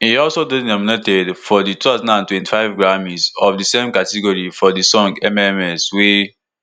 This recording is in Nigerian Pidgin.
e also dey nominated for di two thousand and twenty-five grammys of di same category for di song mms wey